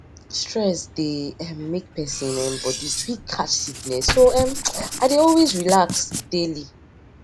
stress dey um make persin um body quick catch sickness so um i dey always relax daily